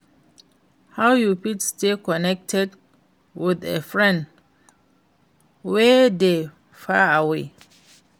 how you fit stay connected with a friend wey dey far away?